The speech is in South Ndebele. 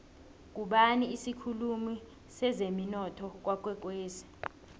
ngubani isikhulumi sezemunotho kwakwekwezi